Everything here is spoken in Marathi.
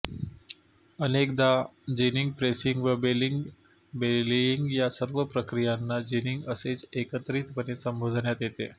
अनेकदा जिनिंग प्रेसिंग व बेलिंग बेलियिंग या सर्व प्रक्रियांना जिनिंग असेच एकत्रितपणे संबोधण्यात येते